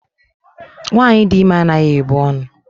Nwaanyị dị ime anaghị ebu ọnụ.